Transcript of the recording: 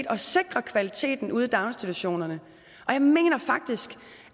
at sikre kvaliteten ude i daginstitutionerne og jeg mener faktisk